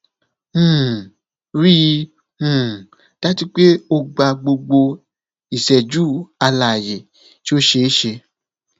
um rii um daju pe o gba gbogbo iṣẹju alaye ti o ṣe e ṣe